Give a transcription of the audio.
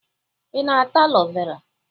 Ị na-ata alo vera?